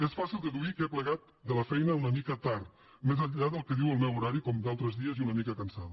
és fàcil deduir que he plegat de la feina una mica tard més enllà del que diu el meu horari com d’altres dies i una mica cansada